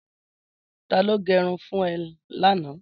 Tàló gẹrún fùn è làná?